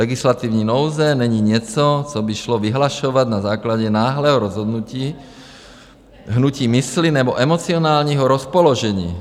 Legislativní nouze není něco, co by šlo vyhlašovat na základě náhlého rozhodnutí, hnutí mysli nebo emocionálního rozpoložení.